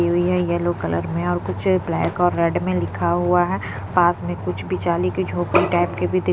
कि हुई है येलो कलर में और कुछ ब्लैक और रेड में लिखा हुआ है पास में कुछ बिचाली की झोपड़ी टाइप के भी दि --